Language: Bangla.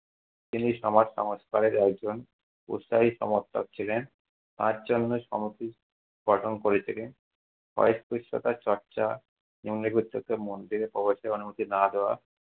তিনি সমাজসমস্কারে একজন উৎসাহী সমর্থক ছিলেন, তার জন্য গঠন করে তিনি অস্পৃশ্যতা চর্চা